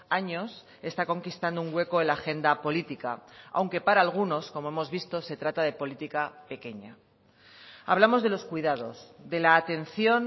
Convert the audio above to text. años está conquistando un hueco en la agenda política aunque para algunos como hemos visto se trata de política pequeña hablamos de los cuidados de la atención